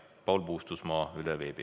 Paul Puustusmaa üle veebi.